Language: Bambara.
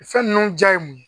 Fɛn ninnu ja ye mun ye